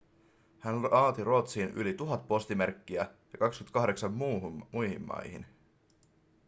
hän laati ruotsiin yli 1 000 postimerkkiä ja 28 muihin maihin